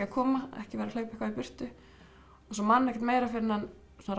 að koma ekki vera að hlaupa eitthvað í burtu og svo man hann ekkert meira fyrr en hann svona